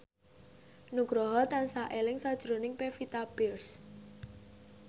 Nugroho tansah eling sakjroning Pevita Pearce